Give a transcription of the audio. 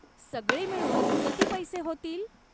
सगळे मिळून किती पैसे होतील?